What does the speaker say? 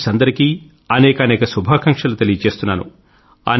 C cadets అందరికీ అనేకానేక శుభాకాంక్షలు తెలియచేస్తున్నాను